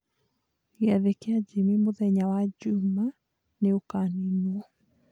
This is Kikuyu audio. Gĩathĩ kĩa Jimmie mũthenya wa njumaa nĩ ũkaninwo